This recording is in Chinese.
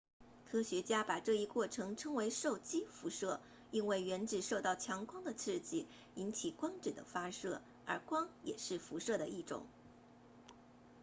科学家把这一过程称为受激辐射因为原子受到强光的刺激引起光子的发射而光也是辐射的一种